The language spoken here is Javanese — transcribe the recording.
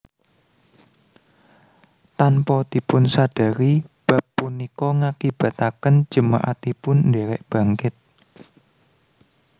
Tanpa dipunsadari bab punika ngakibataken jemaatipun ndherek bangkit